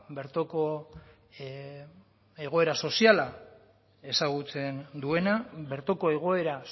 bertoko egoera soziala ezagutzen duena bertoko egoera